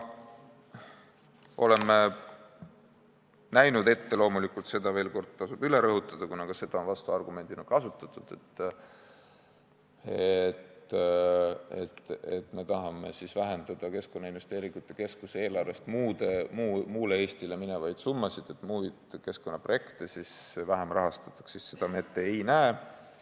Tasub veel kord üle rõhutada, kuna vastuargumendina on kasutatud seda, nagu me tahaksime vähendada Keskkonnainvesteeringute Keskuse eelarvest muule Eestile minevaid summasid, nii et muid keskkonnaprojekte vähem rahastataks, et seda me ette ei näe.